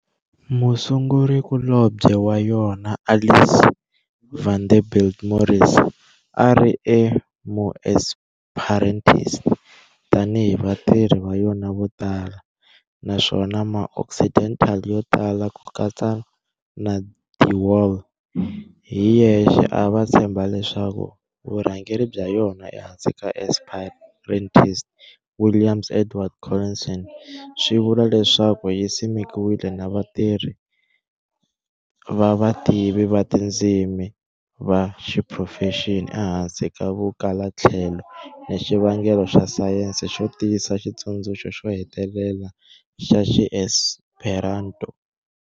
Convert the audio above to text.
Musungurikulobye wa yona Alice Vanderbilt Morris a a ri MuEsperantist, tani hi vatirhi va yona votala, naswona Ma-Occidental yotala kukatsa na de Wahl hi yexe ava tshemba leswaku vurhangeri bya yona ehansi ka Esperantist William Edward Collinson swivula leswaku yi simekiwile na vatirhi va vativi va tindzimi va xiphurofexinali ehansi ka vukalatlhelo ni xivangelo xa sayense xo tiyisa xitsundzuxo xo hetelela xa Xiesperanto.